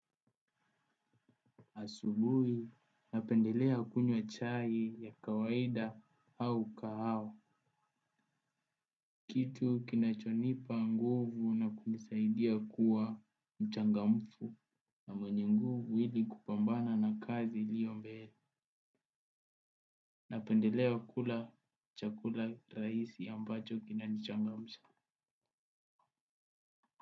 Asubui napendelea kunywa chai ya kawaida hau kahawa. Kitu kinachonipa nguvu na kunisaidia kuwa mchangamfu na mwenye nguvu ili kupambana na kazi iliyo mbele. Napendelea kula chakula rahisi ambacho kinanichangamsha.